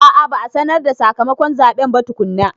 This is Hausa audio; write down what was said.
A a, ba a sanar da sakamakon zaɓen ba tukunna.